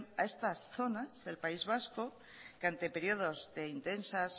a estas zonas del país vasco que ante periodos de intensas